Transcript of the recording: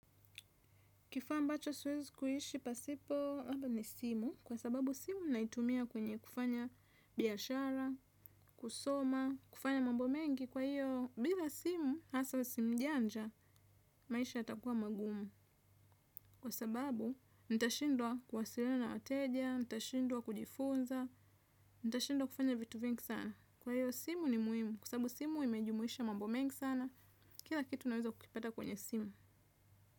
Kifaa ambacho siwezi kuishi pasipo haba ni simu kwa sababu simu naitumia kwenye kufanya biashara, kusoma, kufanya mambo mengi kwa hiyo bila simu hasa simu njanja maisha yatakuwa magumu. Kwa sababu nitashindwa kuwasiliana na wateja, nitashindwa kujifunza, nitashindwa kufanya vitu vingi sana. Kwa hiyo simu ni muhimu kwa sababu simu imejumuisha mambo mengi sana, kila kitu unaweza kukipata kwenye simu.